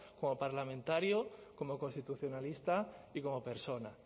como parlamentario como constitucionalista y como persona